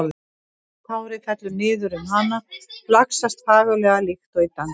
Sítt hárið fellur niður um hana, flaksast fagurlega líkt og í dansi.